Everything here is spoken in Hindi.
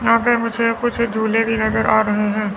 यहां पे मुझे कुछ झूले भी नजर आ रहे हैं।